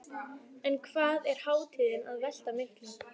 En hvað er hátíðin að velta miklu?